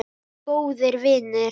Allir góðir vinir.